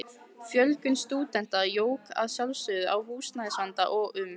Fjölgun stúdenta jók að sjálfsögðu á húsnæðisvandann og um